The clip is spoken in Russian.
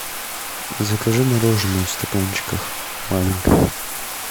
закажи мороженое в стаканчиках маленькое